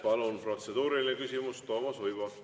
Palun protseduuriline küsimus, Toomas Uibo!